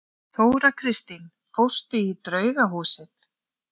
Þóra Kristín: Fórstu í draugahúsið?